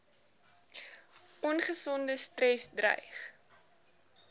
ongesonde stres dreig